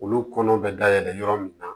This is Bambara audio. Olu kɔnɔ bɛ dayɛlɛ yɔrɔ min na